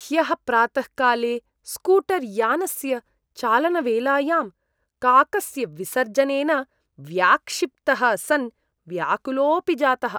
ह्यः प्रातःकाले स्कूटर्यानस्य चालनवेलायां काकस्य विसर्जनेन व्याक्षिप्तः सन् व्याकुलोपि जातः।